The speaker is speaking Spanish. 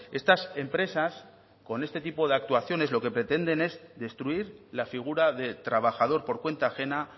estas empresas con este tipo de actuaciones lo que pretenden es destruir la figura de trabajador por cuenta ajena